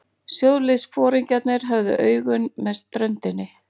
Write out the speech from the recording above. Sjóliðsforingjarnir höfðu augun með ströndinni.